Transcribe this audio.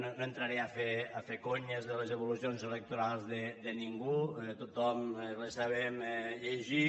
no entraré a fer conyes de les evolucions electorals de ningú tothom les sabem llegir